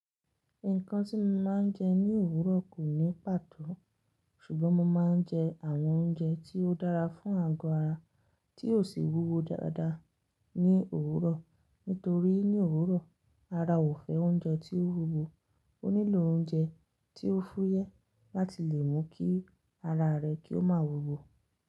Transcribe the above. Nǹkan tí mo máa ń jẹ ní òwúrọ̀ kò ní pàtó. Ṣùgbọ́n mo máa ń jẹ àwọn oúnjẹ tí ó dára fún àgọ́ ara tí ò sì wúwo dáadáa ní òwúrọ̀. Nítorí ní òwúrọ̀ ara ò fẹ́ oúnjẹ tí ó wúwo, ó nílò oúnjẹ tí ó fúyẹ́ láti lè mú kí ara rẹ̀ kí ó máa wúwo.